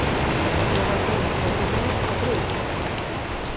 Jóhanndína, ferð þú með okkur á þriðjudaginn?